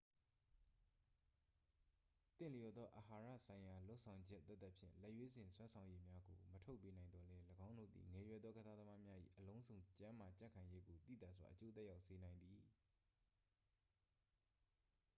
သင့်လျော်သော အာဟာရဆိုင်ရာလုပ်ဆောင်ချက်သက်သက်ဖြင့် လက်ရွေးစင်စွမ်းဆောင်ရည်များကို မထုတ်ပေးနိုင်သော်လည်း ၎င်းတို့သည် ငယ်ရွယ်သောကစားသမားများ၏ အလုံးစုံကျန်းမာကြံ့ခိုင်ရေးကို သိသာစွာ အကျိုးသက်ရောက်စေနိုင်သည်